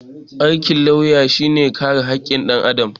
Aikin lauya shi ne kare hakkin ɗan Adam